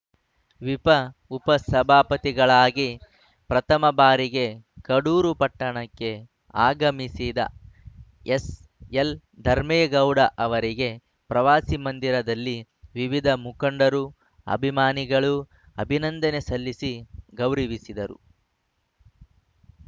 ವಿಪ ಉಪಸಭಾಪತಿಗಳಾಗಿ ಪ್ರಥಮ ಭಾರಿಗೆ ಕಡೂರು ಪಟ್ಟಣಕ್ಕೆ ಆಗಮಿಸಿದ ಎಸ್‌ಎಲ್‌ ಧರ್ಮೇಗೌಡ ಅವರಿಗೆ ಪ್ರವಾಸಿ ಮಂದಿರದಲ್ಲಿ ವಿವಿಧ ಮುಖಂಡರು ಅಭಿಮಾನಿಗಳು ಅಭಿನಂದನೆ ಸಲ್ಲಿಸಿ ಗೌರವಿಸಿದರು